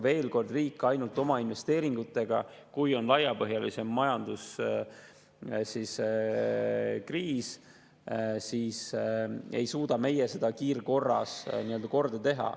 Veel kord, kui on laiapõhjalisem majanduskriis, siis riik ei suuda ainult oma investeeringutega seda kiirkorras korda teha.